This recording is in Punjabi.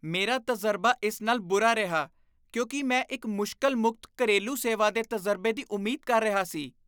ਮੇਰਾ ਤਜ਼ਰਬਾ ਇਸ ਨਾਲ ਬੁਰਾ ਰਿਹਾ ਕਿਉਂਕਿ ਮੈਂ ਇੱਕ ਮੁਸ਼ਕਲ ਮੁਕਤ ਘਰੇਲੂ ਸੇਵਾ ਦੇ ਤਜ਼ਰਬੇ ਦੀ ਉਮੀਦ ਕਰ ਰਿਹਾ ਸੀ